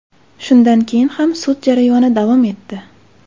Shundan keyin ham sud jarayoni davom etdi.